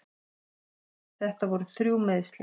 Þetta voru þrjú meiðsli.